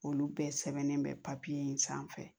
Olu bɛɛ sɛbɛnnen bɛ papiye in sanfɛ